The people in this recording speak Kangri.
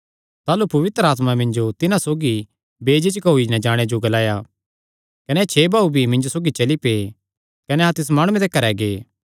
ताह़लू पवित्र आत्मा मिन्जो तिन्हां सौगी बेझिझक होई नैं जाणे जो ग्लाया कने एह़ छे भाऊ भी मिन्जो सौगी चली पै कने अहां तिस माणुये दे घरैं गै